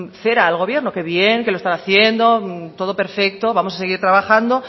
cera al gobierno que bien que lo están haciendo todo perfecto vamos a seguir trabajando